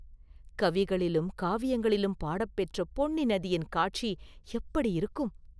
கவிகளிலும் காவியங்களிலும் பாடப்பெற்ற பொன்னி நதியின் காட்சி எப்படியிருக்கும்?